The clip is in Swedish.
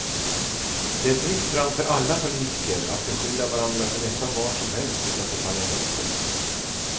Det är fritt fram för alla politiker att beskylla varandra för nästan vad som helst utanför parlamentet.